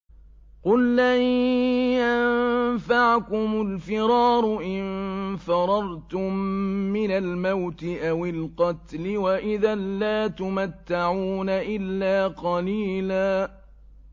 قُل لَّن يَنفَعَكُمُ الْفِرَارُ إِن فَرَرْتُم مِّنَ الْمَوْتِ أَوِ الْقَتْلِ وَإِذًا لَّا تُمَتَّعُونَ إِلَّا قَلِيلًا